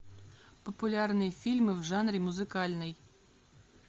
популярные фильмы в жанре музыкальный